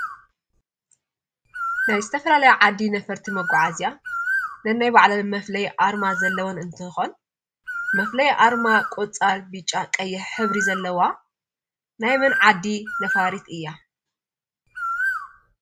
ናይ ዝተፈላለየ ዓዲ ነፈርቲ መጓዓዝያ ነናይ ባዕለን መፍለዪ ኣርማ ዘለወን እንትኾን መፍለይ ኣርማ ቆፃል፣ በጫ፣ ቀይሕ ሕብሪ ዘለዋ ናይ መን ዓዲ ነፋሪት እያ?